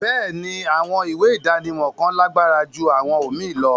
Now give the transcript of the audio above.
Béèni, àwọn ìwé idánimọ̀ kan làgbára jù àwọn omíì lọ